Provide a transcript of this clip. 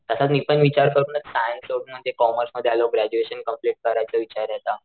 तसा मी पण विचार करूनच सायन्स सोडून म्हणजे कॉमर्स मध्ये आलो ग्रॅज्युएशन कंप्लेंट करायचा विचार आता.